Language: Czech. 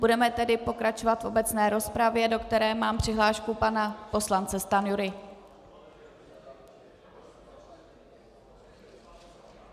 Budeme tedy pokračovat v obecné rozpravě, do které mám přihlášku pana poslance Stanjury.